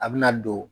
A bɛna don